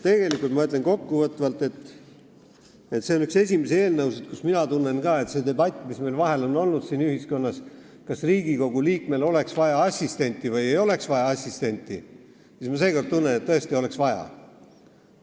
Ütlen kokku võttes, et see on üks esimesi eelnõusid, mille puhul ma ütlen, et kui meil on ühiskonnas käinud debatt selle üle, kas Riigikogu liikmel oleks vaja või ei oleks vaja assistenti, siis seekord ma tunnen, et tõesti oleks vaja.